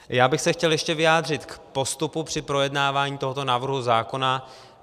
Já bych se chtěl ještě vyjádřit k postupu při projednávání tohoto návrhu zákona.